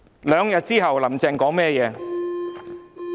兩天後，"林鄭"說甚麼話？